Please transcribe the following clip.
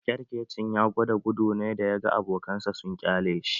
Ƙyarkecin ya gwada gudu ne da ya ga abokan sa sun ƙyale shi